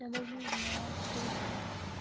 я даже не знаю кто ещё